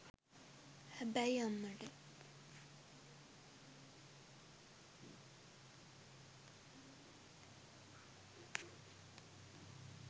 හැබැයි අම්මට.